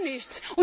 Gar nichts!